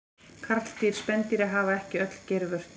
Karldýr spendýra hafa ekki öll geirvörtur.